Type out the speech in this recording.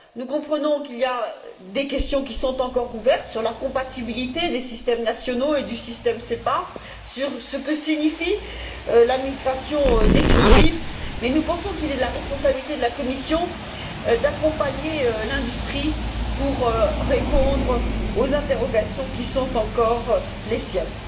Nous comprenons qu'il y a des questions qui sont encore ouvertes sur la compatibilité des systèmes nationaux et du système SEPA, sur ce que signifie la migration définitive, mais nous pensons qu'il est de la responsabilité de la Commission d'accompagner l'industrie pour répondre aux interrogations qui sont encore les siennes.